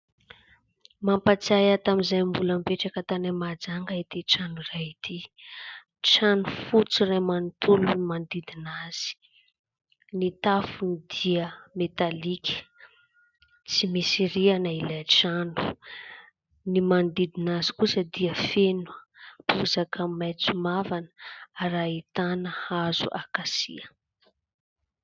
Mampatsiahy ahy tamin'izahay mbola mipetraka tany Mahajanga ity trano iray ity. Trano fotsy iray manontolo no manodidina azy ; ny tafony dia metalika ; tsy misy rihana ilay trano. Ny manodidina azy kosa dia feno bozaka maitso mavana ary ahitana hazo « akasia ».